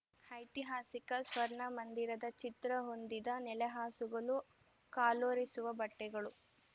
ಐತಿಹಾಸಿಕ ಸ್ವರ್ಣ ಮಂದಿರದ ಚಿತ್ರ ಹೊಂದಿದ ನೆಲಹಾಸುಗಳು ಕಾಲೊರೆಸುವ ಬಟ್ಟೆಗಳು